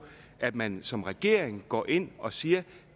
at man som regering kan gå ind og sige at